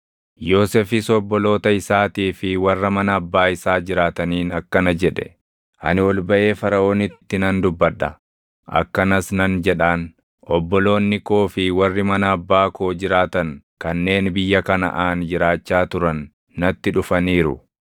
Yoosefis obboloota isaatii fi warra mana abbaa isaa jiraataniin akkana jedhe; “Ani ol baʼee Faraʼoonitti nan dubbadha; akkanas nan jedhaan; ‘Obboloonni koo fi warri mana abbaa koo jiraatan kanneen biyya Kanaʼaan jiraachaa turan natti dhufaniiru.